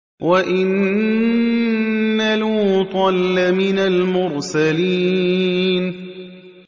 وَإِنَّ لُوطًا لَّمِنَ الْمُرْسَلِينَ